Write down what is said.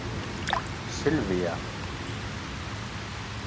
Silvía